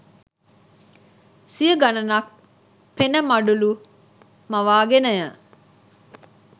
සිය ගණනක් පෙන මඩලු මවාගෙනය.